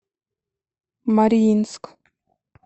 мариинск